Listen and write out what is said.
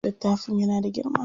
Littafin yana da girma.